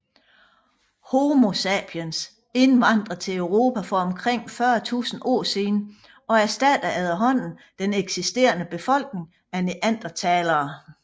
Homo sapiens indvandrede til Europa for omkring 40 000 år siden og erstattede efterhånden den eksisterende befolkning af neandertalere